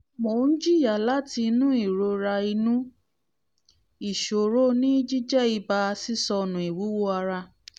mò ń jiìyà láti inú ìrora inú ìṣòro ní jíjẹ́ ibà sísọnù ìwúwo ara